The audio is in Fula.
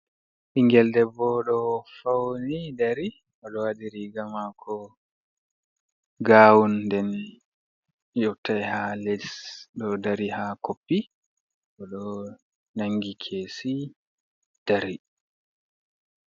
Ɓingel debbo do fawni dari, oɗo waɗi riga mako gawun den yottai ha les ɗo dari ha koppi bo oɗo nangi kesi dari.